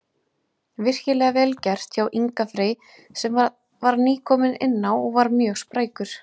Virkilega vel gert hjá Inga Frey sem að var nýkominn inná og var mjög sprækur.